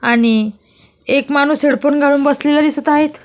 आणि एक माणूस हेडफोन घालून बसलेला दिसत आहे.